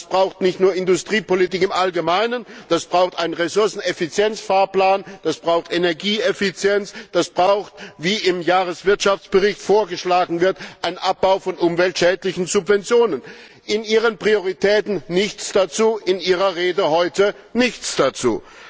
Das braucht nicht nur Industriepolitik im Allgemeinen, das braucht einen Ressourceneffizienz Fahrplan, das braucht Energieeffizienz, das braucht wie im Jahreswirtschaftsbericht vorgeschlagen wird einen Abbau von umweltschädlichen Subventionen. In Ihren Prioritäten nichts dazu, in Ihrer Rede heute nichts dazu.